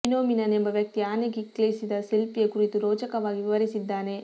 phenomenon ಎಂಬ ವ್ಯಕ್ತಿ ಆನೆ ಕ್ಲಿಕ್ಕಿಸಿದ ಸೆಲ್ಫಿಯ ಕುರಿತು ರೋಚಕವಾಗಿ ವಿವರಿಸಿದ್ದಾನೆ